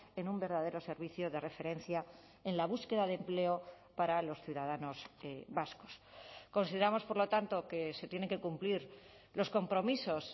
en un verdadero servicio de referencia en la búsqueda de empleo para los ciudadanos vascos consideramos por lo tanto que se tienen que cumplir los compromisos